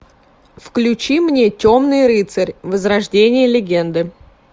включи мне темный рыцарь возрождение легенды